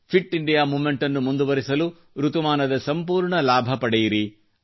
fit India moment ಅನ್ನು ಮುಂದುವರೆಸಲು ಋತುಮಾನದ ಸಂಪೂರ್ಣ ಲಾಭ ಪಡೆಯಿರಿ